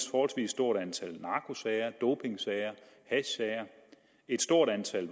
et forholdsvis stort antal narkosager dopingsager hashsager et stort antal